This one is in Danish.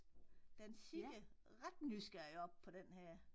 Den kigger ret nysgerrigt op på denne her